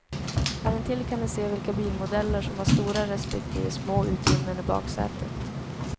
Här intill kan ni se vilka bilmodeller som har stora respektive små utrymmen i baksätet.